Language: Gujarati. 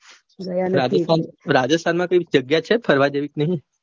રાજસ્થાન માં કાંઈ જગ્યા છે ફરવા જેવી કે નહિ.